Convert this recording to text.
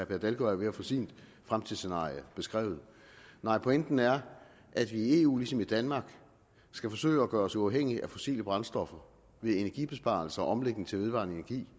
per dalgaard er ved at få sit fremtidsscenarie beskrevet pointen er at vi i eu ligesom i danmark skal forsøge at gøre os uafhængige af fossile brændstoffer ved energibesparelser og omlægning til vedvarende energi